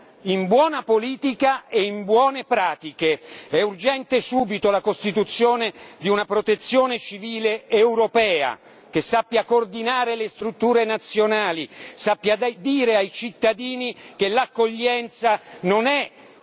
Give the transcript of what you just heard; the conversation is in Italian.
È urgente subito la costituzione di una protezione civile europea che sappia coordinare le strutture nazionali, sappia dire ai cittadini che l'accoglienza non è diversa e lontana dall'accoglienza.